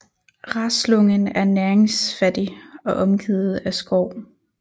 Raslången er næringsfattig og omgivet af skov